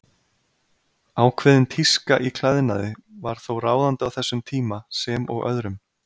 Ákveðin tíska í klæðnaði var þó ráðandi á þessum tíma, sem og öðrum.